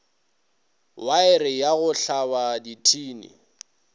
waere ya go tlhaba dithini